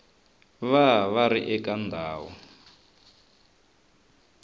va va ri eka ndhawu